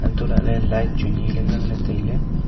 to lahle light chu ni le ngan le taile.